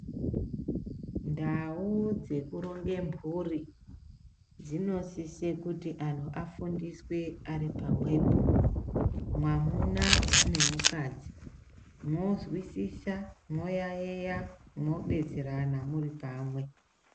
Ndau dzekuronge mburi dzinosise kuti anhu afundiswe ari pamwepo-mwamuna nemukadzi. Mozwisisa, moyaiya mobetserana muri pamwe.